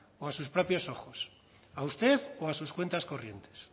o a sus propios ojos a usted o a sus cuentas corrientes